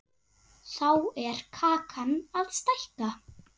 Þá er kakan að stækka.